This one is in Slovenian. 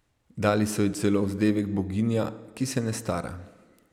Dali so ji celo vzdevek boginja, ki se ne stara.